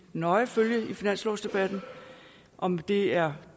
nøje følge i finanslovsdebatten om det er